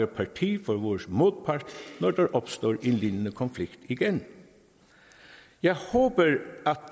parti for vores modpart når der opstår en lignende konflikt igen jeg håber at